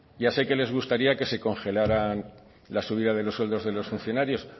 ya sé que les gustaría que se congelaran la subida de los sueldos de los funcionarios